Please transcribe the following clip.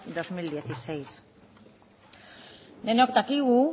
dos mil dieciséis denok dakigu